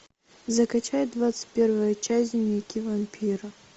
закачай двадцать первую часть дневники вампира